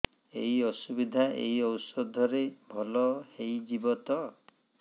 ଏଇ ଅସୁବିଧା ଏଇ ଔଷଧ ରେ ଭଲ ହେଇଯିବ ତ